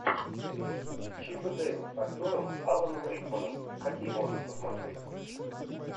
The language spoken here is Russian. чип и дейл с актером аланом рикманом какие можно посмотреть